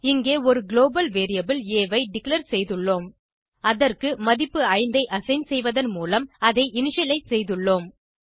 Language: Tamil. இங்கே ஒரு குளோபல் வேரியபிள் ஆ ஐ டிக்ளேர் செய்துள்ளோம் அதற்கு மதிப்பு 5 ஐ அசைன் செய்வதன் மூலம் அதை இனிஷியலைஸ் செய்துள்ளோம்